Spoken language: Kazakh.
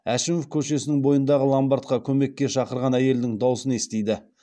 әшімов көшесінің бойындағы ломбардқа көмекке шақырған әйелдің даусын естиді